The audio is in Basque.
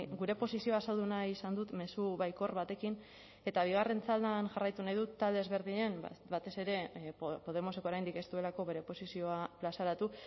gure posizioa azaldu nahi izan dut mezu baikor batekin eta bigarren txandan jarraitu nahi dut talde ezberdinen batez ere podemoseko oraindik ez duelako bere posizioa plazaratu